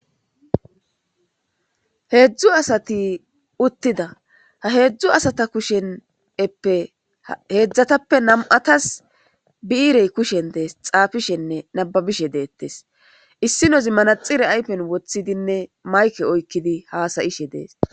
Heedzdzu asati uttida ha heedzdzu asata kusheneppe heedzdzatappe nam'atas biirey kushen dees xaafishenne nababishe deettes issi nozi manaxire aypen woththidinne mayke oykkidi haasayishe dees.